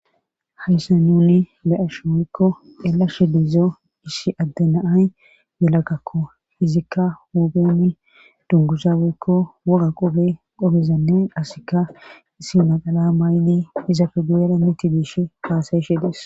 Hayssa nuni le7ash woykko eelashe diizo issi adde naay yelagakko izikka huupheni dungusa weykko wuga qobe qobezannay asikka issi maqala mayni izafe guyera mitti diish kaasayshe dis